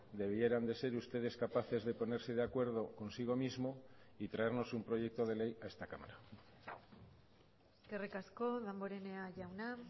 debieran de ser ustedes capaces de ponerse de acuerdo consigo mismo y traernos un proyecto de ley a esta cámara eskerrik asko damborenea jauna